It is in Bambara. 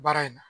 Baara in na